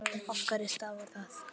Af hverju stafar það?